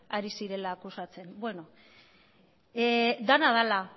ari zirela akusatzen dena dela